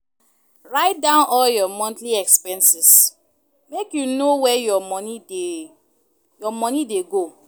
Write down all your monthly expenses, make you know where your moni dey your moni dey go.